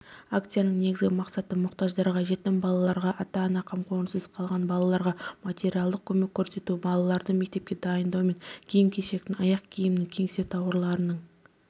акцияның негізгі мақсаты мұқтаждарға жетім балаларға ата-ана қамқорыңсыз қалған балаларға материалдық көмек көрсету балаларды мектепке дайындаумен киім-кешектің аяқ-киімнің кеңсе тауарларының